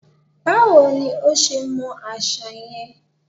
Báwo ní o ṣe mọ àṣà yẹn?